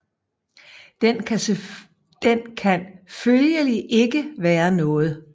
Den kan følgelig ikke være noget